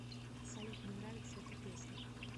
салют не нравится эта песня